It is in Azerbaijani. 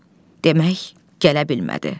Demək, gələ bilmədi.